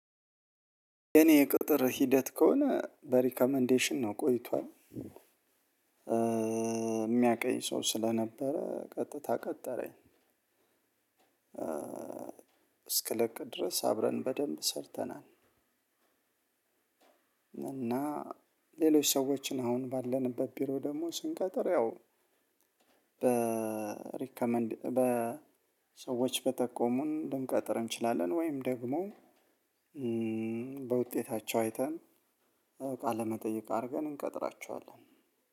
የኔ ቅጥር ሂደት ከሆነ በሪከመንዴሽን ነው ቆይቷል። የሚያውቀኝ ሰው ስለነበረ ቀጥታ ቀጠረኝ። እስክልቅ ድረስ አብረን በደንብ ሰርተናል። እና ሌሎች ሰዎችን አሁን ባለንበት ቢሮ ደግሞ ስንቀጥር ያው በሪከመንድ በሰዎች በጠቆሙን ልንቀጥር እንችላለን። ወይም ደግሞ በውጤታቸው አይተን ቃለ መጠየቅ አርገን እንቀጥራቸዋለን።